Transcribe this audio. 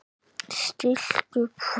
Stillt upp fremst.